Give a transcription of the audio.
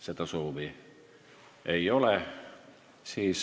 Seda soovi ei ole.